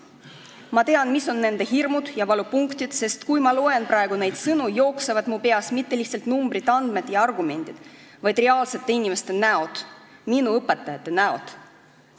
Ma tean, mis on nende inimeste hirmud ja valupunktid, sest kui ma loen praegu neid sõnu, jooksevad mu peast läbi mitte lihtsalt numbrid, andmed ja argumendid, vaid reaalsete inimeste näod, minu õpetajate näod.